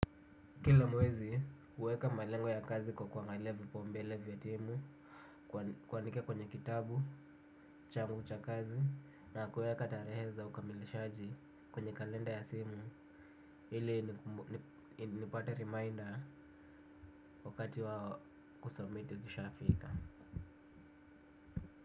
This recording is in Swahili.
Kila mwezi, huweka malengo ya kazi kwa kuangalia vipaumbele vya timu, kuandika kwenye kitabu, changu cha kazi, na kuweka tarehe za ukamilishaji kwenye kalenda ya simu, ili nipate reminder wakati wa kusubmiti ukishafika.